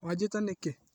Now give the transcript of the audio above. Wanjĩta nĩkĩ?